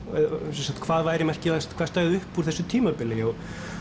sem sagt hvað væri merkilegast hvað stæði upp úr þessu tímabili